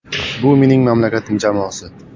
Bu mening mamlakatim jamoasi.